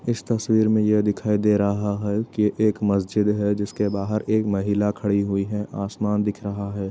इस तस्वीर में ये दिखायी दे रहा है कि एक मस्जिद है जिसके बाहर एक महिला खड़ी हुई है। आसमान दिख रहा है।